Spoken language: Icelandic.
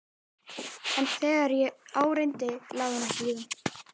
En þegar á reyndi lagði hún ekki í það.